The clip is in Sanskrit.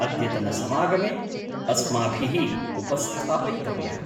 अद्यतनसमागमे अस्माभिः उपस्थापयितव्यः।